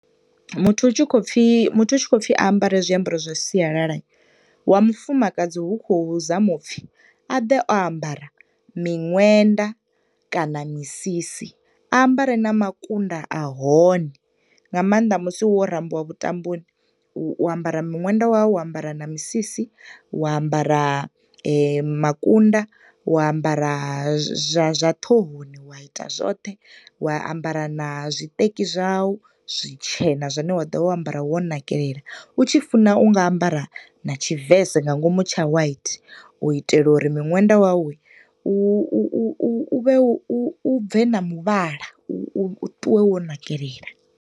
Muthu hu tshi khou pfi, muthu hu tshi khou pfi a ambare zwiambaro zwa sialala. Wa mufumakadzi ho khou zamiwa upfi a ḓe o ambara miṅwenda kana misisi. A ambare na makunda a hone, nga maanḓa musi wo rambiwa vhutamboni, u ambara miṅwenda ya wu, wa ambara na misisi, wa ambara makunda, wa ambara zwa ṱhohoni, wa ita zwoṱhe, wa ambara na zwiṱeki zwau zwitshena zwine wa dovha wo ambara wo nakelela, u tshi funa unga ambara na tshivese nga ngomu tsha white u itela uri u vhe u bve na muvhala, u ṱuwe wo nakelela.